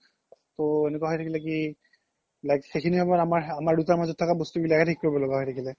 তো এনেকুৱা হয় থাকিলে কি like সেইখিনি সময় আমাৰ দুতাৰ মাজ্ত থকা বস্তু বিলাক হে থিক কোৰিব থোকিয়া হয় থাকিলে